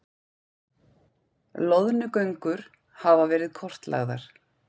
Loðnugöngur hafa verið kortlagðar